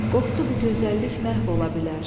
Qorxdu bu gözəllik məhv ola bilər.